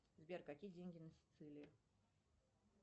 сбер какие деньги на сицилии